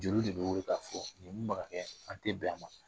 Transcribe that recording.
Jeriw de bɛ wili ka fɔ nin an tɛ bɛn a ma.